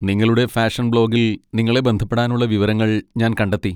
നിങ്ങളുടെ ഫാഷൻ ബ്ലോഗിൽ നിങ്ങളെ ബന്ധപ്പെടാനുള്ള വിവരങ്ങൾ ഞാൻ കണ്ടെത്തി.